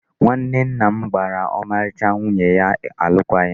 Nwanne nna m gbara ọmalịcha nwunye ya alụkwaghịm.